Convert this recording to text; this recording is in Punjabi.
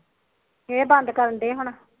ਇਹ ਬੰਦ ਕਰਡੇ ਹੁਣ